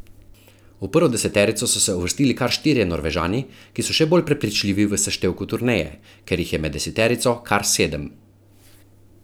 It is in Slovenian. V prvo deseterico so se uvrstili kar štirje Norvežani, ki so še bolj prepričljivi v seštevku turneje, kjer jih je med deseterico kar sedem.